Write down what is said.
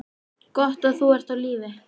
Gott að þú ert á lífi.